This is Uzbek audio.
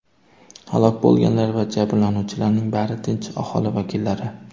Halok bo‘lganlar va jabrlanuvchilarning bari tinch aholi vakillari.